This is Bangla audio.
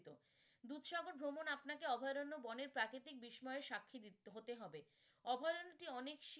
দুধসাগর ভ্রমণ আপনাকে অভায়রণ্য বনের প্রাকৃতিক বিস্ময়ে সাক্ষী হতে হবে। অভয়ারণ্যেটি অনেক,